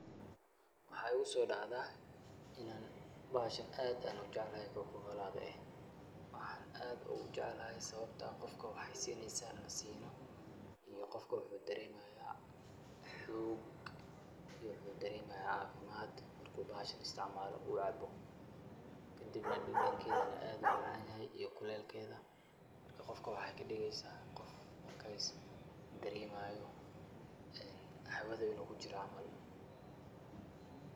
Waxa ugo sodactah bahashan aad Aya ujecalahy waxan ad ugu jeecalahay sawabtaa iyoqoofka waxu dareemahaya iyako dareemahyo cafimad Qoofka marku caabo kadib iyo kulelgetha kadib waxay kadugeysah Qoof waxayeli inu kujiroh caml .